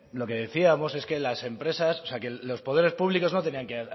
lo que decíamos es que los poderes públicos no tenían que